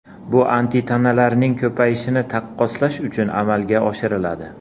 Bu antitanalarning ko‘payishini taqqoslash uchun amalga oshiriladi.